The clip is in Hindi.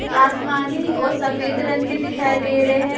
आसमानी और सफेद रंग के दिखाई दे रहे हैं।